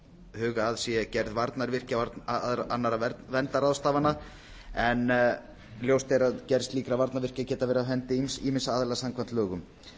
huga að sé gerð varnarvirkja og annarra verndarráðstafana en ljóst er að gerð slíkra varnarvirkja geta verið á hendi ýmissa aðila samkvæmt lögum